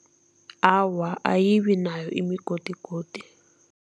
Awa, ayibi nayo imigodigodi.